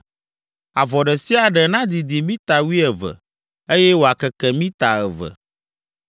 Avɔ ɖe sia ɖe nadidi mita wuieve, eye wòakeke mita eve.